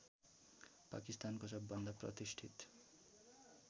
पाकिस्तानको सबभन्दा प्रतिष्ठित